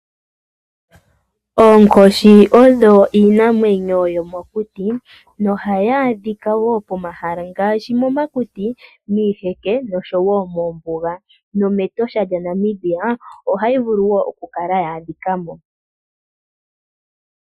Oonkoshi odho iinamwenyo yomokuti, noha yi adhika woo pomahala ngaashi poma kuti, miiheke nosho woo moombuga noMetosha dja Namibia oha yi vulu woo oku kala ya adhika mo.